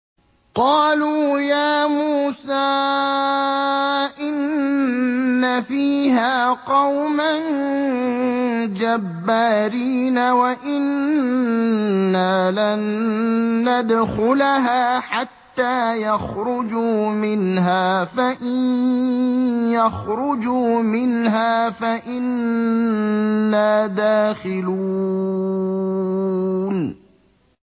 قَالُوا يَا مُوسَىٰ إِنَّ فِيهَا قَوْمًا جَبَّارِينَ وَإِنَّا لَن نَّدْخُلَهَا حَتَّىٰ يَخْرُجُوا مِنْهَا فَإِن يَخْرُجُوا مِنْهَا فَإِنَّا دَاخِلُونَ